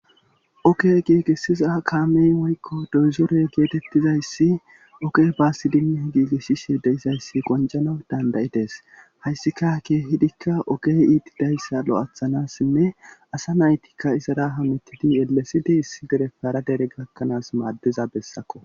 Oke giigessiza kaamey woykko dozore geetettizayssi ogey baassi dima giigesshishe deizayssi qonjana dandayides hayssika ke hidikka ogey iiti dayssa lo7athanassinne asa naytikka izara hamittidi elesidi issi derefara dere gakkanaas maaddiza bessakko.